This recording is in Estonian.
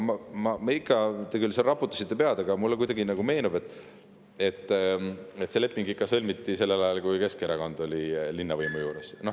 Te küll raputasite seal pead, aga mulle kuidagi nagu meenub, et see leping ikka sõlmiti sellel ajal, kui Keskerakond oli linnavõimu juures.